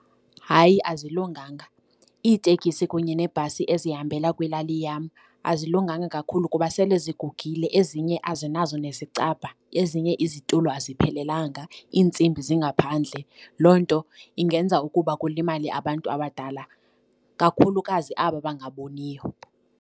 Hayi, azilunganga. Iitekisi kunye neebhasi ezihambela kwilali yam azilunganga kakhulu kuba sele zigugile, ezinye azinazo nesicabha. Ezinye izitulo aziphelelanga, iintsimbi zingaphandle. Loo nto ingenza ukuba kulimale abantu abadala, kakhulukazi aba bangaboniyo.